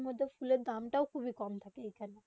মধ্যে ফোলে দামটা এ খুবই কম থাকে